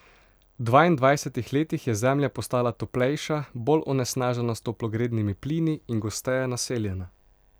V dvaindvajsetih letih je Zemlja postala toplejša, bolj onesnažena s toplogrednimi plini in gosteje naseljena.